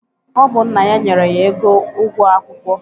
Ọ bụ nna ya nyere ya ego ụgwọ akwụkwọ.